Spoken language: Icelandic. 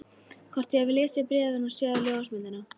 Hvort ég hafi lesið bréfið og séð ljósmyndina?